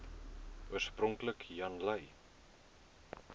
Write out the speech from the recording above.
oorspronklik jan lui